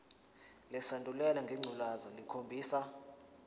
lesandulela ngculazi lukhombisa